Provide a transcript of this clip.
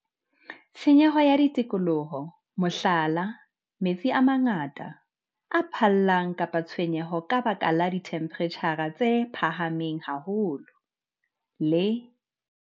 Tshenyo ya tikoloho, mohlala, metsi a mangata, a phallang kapa tshenyo ka baka la dithemphereitjhara tse phahameng haholo, le